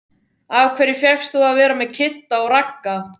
Af hverju fékkst þú að vera með Kidda og Ragga?